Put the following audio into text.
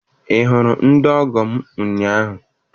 Ị hụrụ ndị ọgọ m ụnyaahụ?